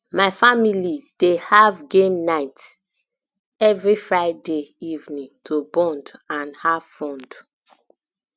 my family dey have game um night every friday evening to bond um and um have fun